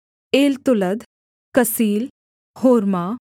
एलतोलद कसील होर्मा